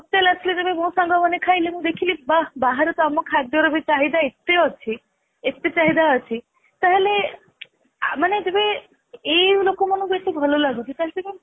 ଆସିଲି ଯେବେ ମୋ ସାଙ୍ଗମାନେ ଖାଇଲେ ମୁଁ ଦେଖିଲି ବାଃ ବାହାରେ ବି ଆମ ଖାଦ୍ୟ ର ଚାହିଦା ଏତେ ଅଛି ଏତେ ଚାହିଦା ଅଛି ତାହେଲେ ମାନେ ଯେବେ ଏଇ ଲୋକ ମାନଙ୍କୁ ଏତେ ଭଲଲାଗୁଛି ତାହାଲେ